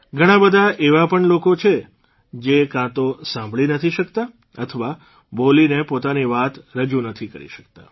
ઘણાબધા એવા પણ લોકો છે જે કાં તો સાંભળી નથી શક્તા અથવા બોલીને પોતાની વાત રજૂ નથી કરી શક્તા